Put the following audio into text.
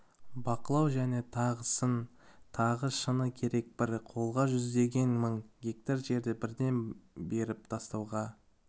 бақылау және тағысын тағы шыны керек бір қолға жүздеген мың гектар жерді бірден беріп тастауға